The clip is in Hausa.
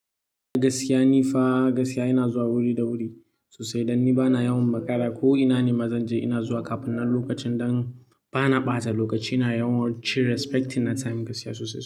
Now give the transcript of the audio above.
Gaskiya ni fa gaskiya ina zuwa wuri da wuri sosai dan ni bana yawan makara ko ina ne mazan je ina zuwa kafin nan lokacin dan bana ɓata lokaci na yawancin respecting na time gaskiya sosai sosai.